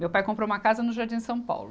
Meu pai comprou uma casa no Jardim São Paulo.